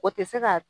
O tɛ se ka